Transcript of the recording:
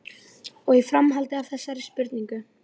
Og í framhaldi af þessari spurningu